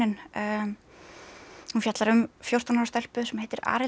hún fjallar um fjórtán ára stelpu sem heitir